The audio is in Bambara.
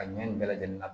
A ɲɛ in bɛɛ lajɛlen na